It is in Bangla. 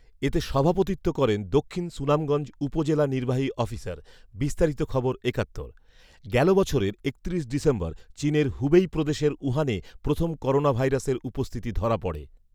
এতে সভাপতিত্ব করেন দক্ষিণ সুনামগঞ্জ উপজেলা নির্বাহী অফিসার। বিস্তারিত খবর একাত্তর, গেল বছরের একত্রিশ ডিসেম্বর চীনের হুবেই প্রদেশের উহানে প্রথম করোনাভাইরাসের উপস্থিতি ধরা পড়ে